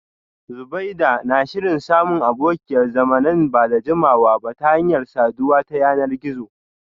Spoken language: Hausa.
Zubeida na shirin samun abokiyar zama nan ba da jimawa ba ta hanyar saduwa ta yanar gizo